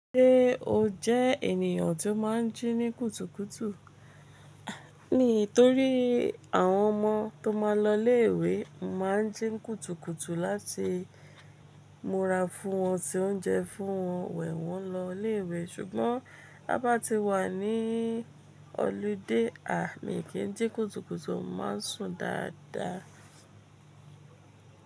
Ṣé o jẹ ènìyàn tó má n jí ní kùtùkùtù? Mii torí àwọn ọmọ tó má a n lọ ilé ìwé, mo maá n jí n kùtùkùtù láti múra fún wọn se oúnjẹ fún wọn wẹ̀ wọ́n lọ ilé ìwé ṣùgbọ́n bá taba wà ní ọludé, a kì í jí kùtùkùtù, a má n sùn dáadáa.